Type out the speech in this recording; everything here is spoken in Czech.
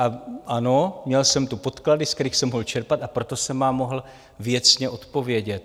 A ano, měl jsem tu podklady, z kterých jsem mohl čerpat, a proto jsem vám mohl věcně odpovědět.